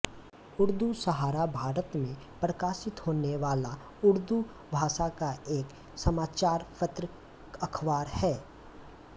उर्दू सहारा भारत में प्रकाशित होने वाला उर्दू भाषा का एक समाचार पत्र अखबार है